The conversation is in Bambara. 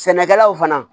Sɛnɛkɛlaw fana